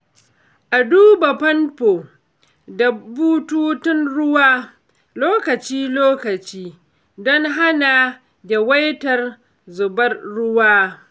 A duba famfo da bututun ruwa lokaci-lokaci don hana yawaitar zubewar ruwa.